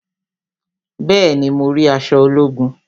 Bẹẹni, mo rí aṣọ ológun